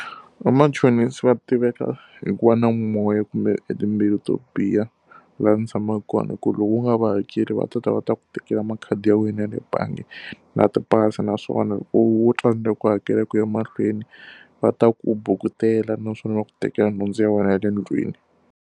Vamachonisi va tiveka hikuva na moya kumbe timbewu to biha laha ndzi tshamaka kona hikuva loko u nga va hakeli va tata va ta ku tekela makhadi ya wena ya le bangi, na tipasi. Naswona loko wo tsandzeka ku hakela ku ya mahlweni, va ta ku bukutela naswona va ku tekela nhundzu ya wena ya le ndlwini.